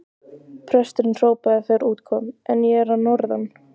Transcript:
Presturinn hrópaði þegar út kom: En ég er að norðan!